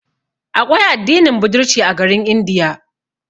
Aƙwai addinin budirci a garin India.